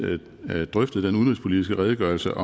drøftede den udenrigspolitiske redegørelse